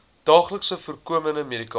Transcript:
daagliks voorkomende medikasie